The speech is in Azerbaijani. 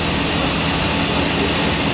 Davamı quraşdırılmış.